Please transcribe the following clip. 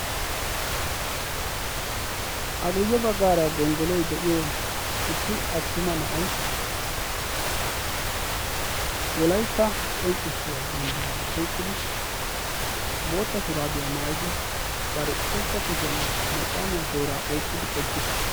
a guyye baggaara gonggoloi de7iyo issi attuma na7ai wolaitta qonccissiya banddiraa oiqqidi bootta shuraabiyaa maayidi bari ushachcha kushiyan macaamiyaa tooraa oiqqidi oqqiis.